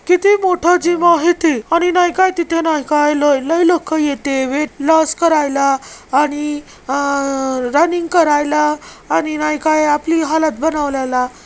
किती मोठा जीम आहे ते आणि नाही काय तिथे नाही काय लय-लय लोक येते वेट लॉस करायला आणि रनिंग करायला आणि नाही काय आपली हालत बनवलेला.